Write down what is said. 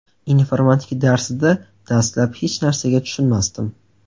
Informatika darsida dastlab hech narsaga tushunmasdim.